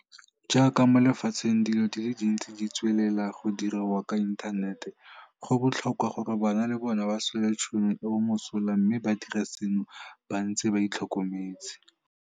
Jaaka mo lefatsheng dilo di le dintsi di tswelela go diriwa ka inthanete, go botlhokwa gore bana le bona ba swele tšhono eo mosola mme ba dire seno ba ntse ba itlhokometse.